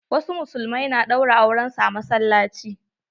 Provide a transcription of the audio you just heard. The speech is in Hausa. Wasu musulmai na ɗaura auren su a masallaci.